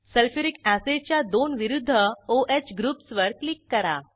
sulphuric अॅसिडच्या दोन विरूध्द o ह ग्रुप्सवर क्लिक करा